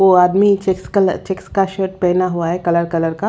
वो आदमी check colour check का शर्ट पहना हुआ है कलर कलर का --